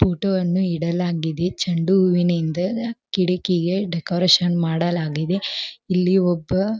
ಫೋಟೋವನ್ನು ಇಡಲಾಗಿದೆ ಚೆಂಡುಹೂವಿನಿಂದ ಕಿಡಕಿಗೆ ಡೆಕೋರೇಷನ್ ಮಾಡಲಾಗಿದೆ ಇಲ್ಲಿ ಒಬ್ಬ --